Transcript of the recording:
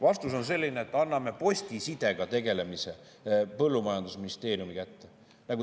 Vastus on see, et anname postisidega tegelemise põllumajandusministeeriumi kätte.